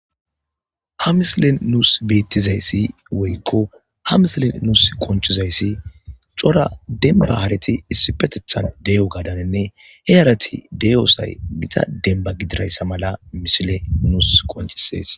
ha misilin nuus beettizayssi woykko ha misilen nuus qonchizayssi cora demba hareti issipetethan de7o gadanenne he arati deyosay mita denba gidirayssa mala misile nuus qonchisees